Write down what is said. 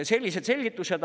Sellised selgitused.